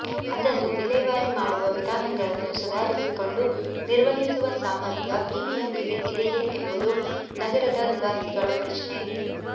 ಅದನ್ನು ವಿಲೇವಾರಿ ಮಾಡುವ ವಿಧಾನಗಳನ್ನು ಸುಧಾರಿಸಿಕೊಂಡು ನಿರ್ವಹಿಸುವ ಸಾಮರ್ಥ್ಯ ಬಿಬಿಎಂಪಿಗೆ ಇದೆಯೇ ಎಂಬುದು ನಗರದ ನಿವಾಸಿಗಳ ಪ್ರಶ್ನೆ